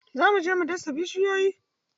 Zo mu je mu dasa bishiyun!